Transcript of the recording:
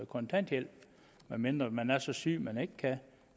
kontanthjælp medmindre man er så syg at man ikke kan